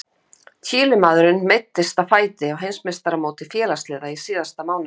Chilemaðurinn meiddist á fæti á Heimsmeistaramóti félagsliða í síðasta mánuði.